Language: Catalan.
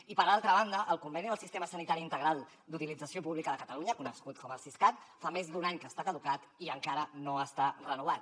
i per altra banda el conveni del sistema sanitari integral d’utilització pública de catalunya conegut com el siscat fa més d’un any que està caducat i encara no està renovat